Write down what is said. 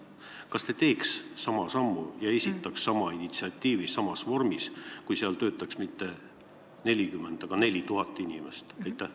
Kas te teeks sama sammu ja esitaks sama initsiatiivi samas vormis, kui neis töötaks mitte 40, vaid 4000 inimest?